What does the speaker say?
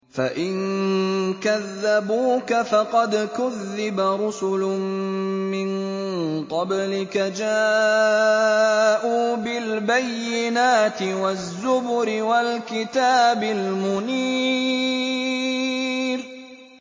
فَإِن كَذَّبُوكَ فَقَدْ كُذِّبَ رُسُلٌ مِّن قَبْلِكَ جَاءُوا بِالْبَيِّنَاتِ وَالزُّبُرِ وَالْكِتَابِ الْمُنِيرِ